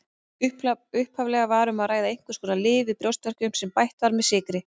Upphaflega var um að ræða einhvers konar lyf við brjóstverkjum sem bætt var með sykri.